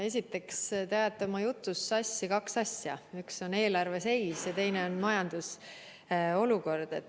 Esiteks, te ajate oma jutus sassi kaks asja: üks on eelarve seis ja teine on majanduse olukord.